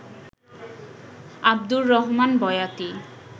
Abdur Rahman Boyati